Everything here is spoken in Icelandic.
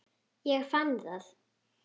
Ég fann það!